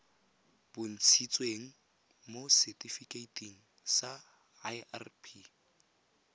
bontshitsweng mo setifikeiting sa irp